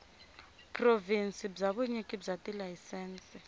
provhinsi bya vunyiki bya tilayisense